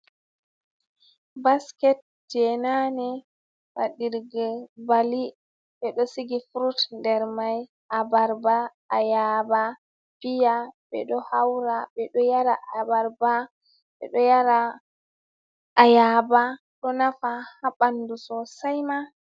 Basket je nane baɗirgel bali, ɓe ɗo siga furut nder mai, abarba, ayaba, fiya, ɓe ɗo haura ɓe ɗo yara ayaba ɗo nafa ha bandu sosai ma.